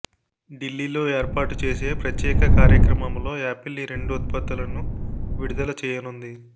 ఢిల్లీలో ఏర్పాటు చేసే ప్రత్యేక కార్యక్రమంలో యాపిల్ ఈ రెండు ఉత్పత్తులను విడుదల చేయనుంది